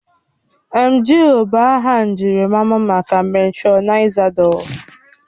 Emgịl bụ aha njirimara maka metrọnidazol